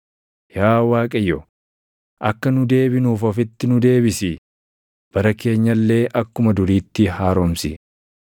Yaa Waaqayyo, akka nu deebinuuf ofitti nu deebisi; bara keenya illee akkuma duriitti haaromsi.